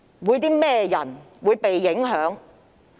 有甚麼人會受到影響？